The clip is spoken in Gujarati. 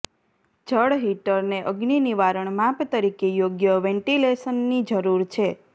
જળ હીટરને અગ્નિ નિવારણ માપ તરીકે યોગ્ય વેન્ટિલેશનની જરૂર છે